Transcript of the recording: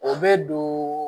O bɛ don